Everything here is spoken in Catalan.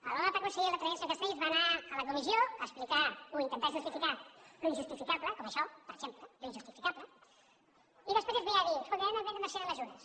l’honorable conseller l’altre dia el senyor castells va anar a la comissió a explicar o a intentar justificar l’injustificable com això per exemple l’injustificable i després ve a dir escolti ara hem de prendre una sèrie de mesures